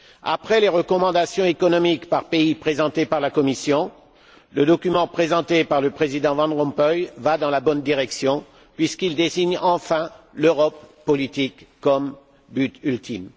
Après les recommandations économiques par pays présentées par la Commission, le document présenté par le Président Van Rompuy va dans la bonne direction, puisqu'il désigne enfin l'Europe politique comme but ultime.